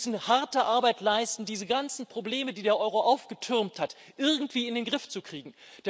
Wir müssen harte Arbeit leisten, um diese ganzen Probleme, die der Euro aufgetürmt hat, irgendwie in den Griff zu kriegen.